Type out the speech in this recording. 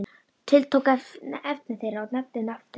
Tiltók efni þeirra og nefndi nafn þitt.